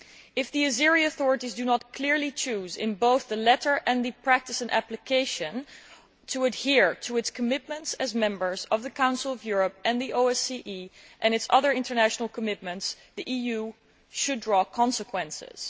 If the authorities in Azerbaijan do not clearly choose, both in letter and in practice and application, to adhere to their commitments as members of the Council of Europe and the OSCE, and to the country's other international commitments, the EU should draw consequences.